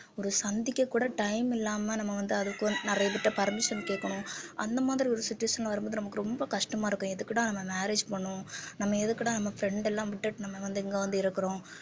ஒரு சந்திக்கக்கூட time இல்லாம நம்ம வந்து அதுக்கு நிறைய பேர்கிட்ட permission கேட்கணும் அந்த மாதிரி ஒரு situation வரும்போது நமக்கு ரொம்ப கஷ்டமா இருக்கும் எதுக்குடா நம்ம marriage பண்ணோம் நம்ம எதுக்குடா நம்ம friend எல்லாம் விட்டுட்டு நம்ம வந்து இங்க வந்து இருக்கிறோம்